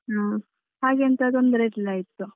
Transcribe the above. ಹಾಗೆಂತ ತೊಂದರೆ ಇರ್ಲಿಲ್ಲಾಗಿತ್ತು.